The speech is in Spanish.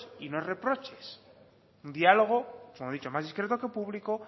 y no reproches un diálogo como he dicho más discreto que público